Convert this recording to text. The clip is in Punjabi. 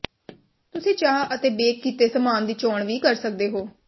ਤੁਸੀਂ ਚਾਹ ਅਤੇ ਬੇਕ ਕੀਤੇ ਸਾਮਾਨ ਦੀ ਚੋਣ ਵੀ ਕਰ ਸਕਦੇ ਹੋ